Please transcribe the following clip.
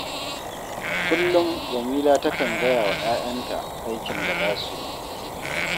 Kullum Jamila takan gaya wa 'ya'yanta aikin da za su yi